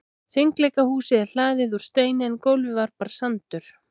Hringleikahúsið er hlaðið úr steini en gólfið var bara sandur.